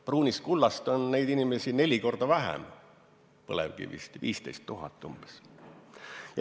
Pruunist kullast, põlevkivist, saab leiva lauale umbes 15 000 inimest ehk neli korda vähem.